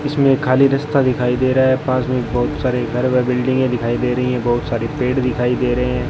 इसमें खाली रास्ता दिखाई दे रहा है पास में बहुत सारे घर व बिल्डिंगे दिखाई दे रही है बहुत सारी पेड़ दिखाई दे रहे है।